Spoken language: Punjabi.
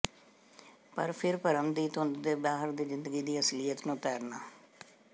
ਪਰ ਫਿਰ ਭਰਮ ਦੀ ਧੁੰਦ ਦੇ ਬਾਹਰ ਦੀ ਜ਼ਿੰਦਗੀ ਦੀ ਅਸਲੀਅਤ ਨੂੰ ਤੈਰਨਾ